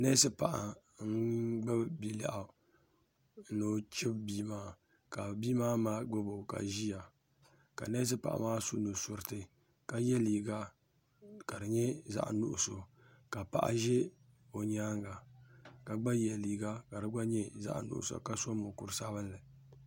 nɛsipaɣ' n gbabi bi lɛɣ'. o chibi bia maa ka bia ma gbabo ka ʒɛ na ka nɛsipaɣ' la yɛ liga ka di nyɛ zaɣ' nuɣisu ka paɣ' ʒɛ o nyɛŋa ka gbayɛ liga ka di nyɛ zaɣ' suɣiso ka gbabi buku sabinli